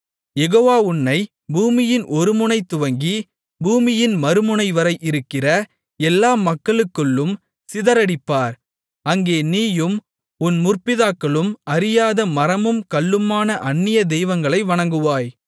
யெகோவா உன்னைப் பூமியின் ஒருமுனை துவக்கி பூமியின் மறுமுனைவரை இருக்கிற எல்லா மக்களுக்குள்ளும் சிதறடிப்பார் அங்கே நீயும் உன் முற்பிதாக்களும் அறியாத மரமும் கல்லுமான அந்நிய தெய்வங்களை வணங்குவாய்